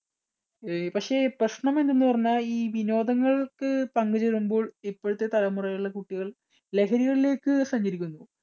അഹ് പക്ഷേ പ്രശ്നം എന്തെന്ന് പറഞ്ഞാൽ ഈ വിനോദങ്ങൾക്ക് പങ്കുചേരുമ്പോൾ ഇപ്പോഴത്തെ തലമുറയിലുള്ള കുട്ടികൾ ലഹരികളിലേക്ക് സഞ്ചരിക്കുന്നു.